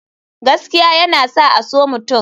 Gaskiya yana sa a so mutum.